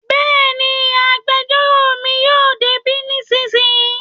Bẹ́ẹ̀ni, agbẹjọ́rò mi yóò dé bí nísìnyí